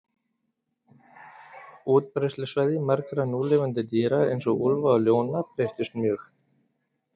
Útbreiðslusvæði margra núlifandi dýra, eins og úlfa og ljóna, breyttust mjög.